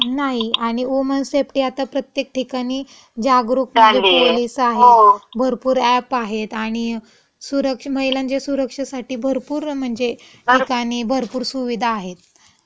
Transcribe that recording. नाही. आणि woman safety आता प्रत्येक ठिकाणी जागरूक म्हणजे पोलिस आहेत, भरपूर अॅप आहेत आणि सूरक्ष, महिलांच्या सुरक्षेसाठी भरपूर म्हणजे ठिकाणी भरपूर सुविधा आहेत. झालीये, हो.